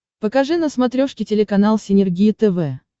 покажи на смотрешке телеканал синергия тв